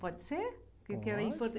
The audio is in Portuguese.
Pode ser?